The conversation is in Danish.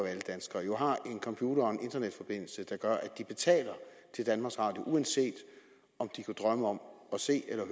alle danskere jo har en computer og en internetforbindelse der gør at de betaler til danmarks radio uanset om de kunne drømme om at se eller